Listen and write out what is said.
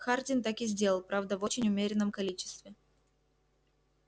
хардин так и сделал правда в очень умеренном количестве